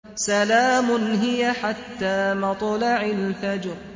سَلَامٌ هِيَ حَتَّىٰ مَطْلَعِ الْفَجْرِ